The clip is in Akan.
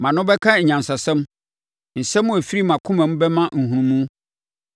Mʼano bɛka anyansasɛm; nsɛm a ɛfiri mʼakomam bɛma nhunumu.